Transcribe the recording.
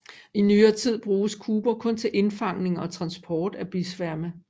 I nyere tid bruges kuber kun til indfangning og transport af bisværme